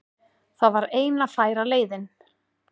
Það var eina færa leiðin